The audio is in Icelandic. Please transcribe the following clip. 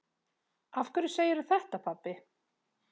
Af hverju segirðu þetta, pabbi?